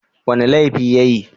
Wani laifi ya yi?